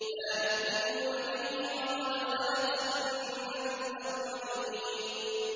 لَا يُؤْمِنُونَ بِهِ ۖ وَقَدْ خَلَتْ سُنَّةُ الْأَوَّلِينَ